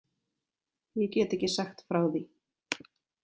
Ég get ekki sagt frá því.